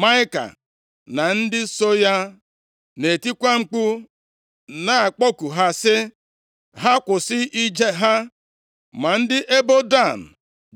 Maịka na ndị so ya na-etikwa mkpu na-akpọku ha sị ha kwụsị ije ha. Ma ndị ebo Dan